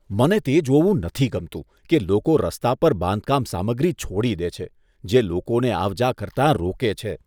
મને તે જોવું નથી ગમતું કે લોકો રસ્તા પર બાંધકામ સામગ્રી છોડી દે છે, જે લોકોને આવ જા કરતાં રોકે છે.